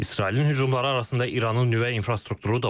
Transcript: İsrailin hücumları arasında İranın nüvə infrastrukturu da var.